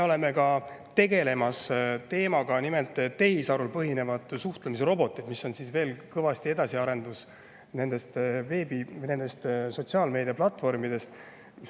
Me tegeleme tehisarul põhinevate suhtlemisrobotitega, mis on veel edasiarendus sotsiaalmeediaplatvormidest.